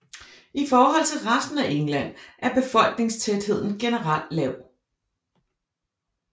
I forhold til resten af England er befolkningstætheden generelt lav